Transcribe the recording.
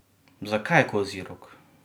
Zakaj kozji rog?